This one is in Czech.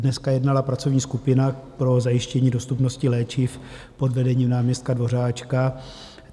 Dneska jednala pracovní skupina pro zajištění dostupnosti léčiv pod vedením náměstka Dvořáčka.